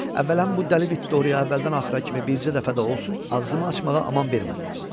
Əvvəla, bu dəli Vitoriya əvvəldən axıra kimi bircə dəfə də olsun ağzımı açmağa aman vermədi.